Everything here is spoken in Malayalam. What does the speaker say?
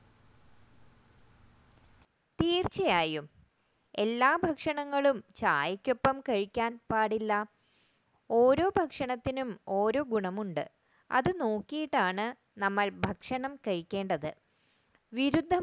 തീർച്ചയായും എല്ലാ ഭക്ഷണങ്ങളും ചായക്കൊപ്പം കഴിക്കാൻ പാടില്ല ഓരോ ഭക്ഷണത്തിനും ഓരോ ഗുണം ഉണ്ട് അത് നോക്കിയിട്ടാണ് നമ്മൾ ഭക്ഷണം കഴിക്കേണ്ടത്